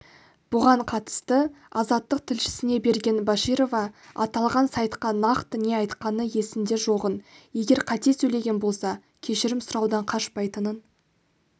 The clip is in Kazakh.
бұған қатысты азаттық тілшісіне берген баширова аталған сайтқа нақты не айтқаны есінде жоғын егер қате сөйлеген болса кешірім сұраудан қашпайтынын